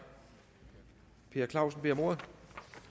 per clausen beder om ordet